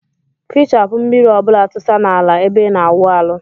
Fichapu mmiri ọbula tusa na ala ebe ina awụ aeụ.